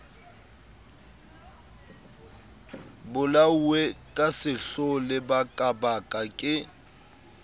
bolauwe ka sehloho lebakabaka ke